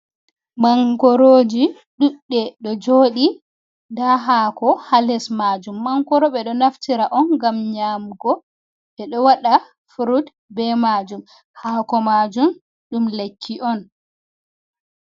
Mangoroji ɗuɗɗe ɗo joɗi nda hako ha les majum, mangoro ɓe ɗo naftira on gam nyamugo ɓe ɗo waɗa frud be majum hako majum ɗum lekki on.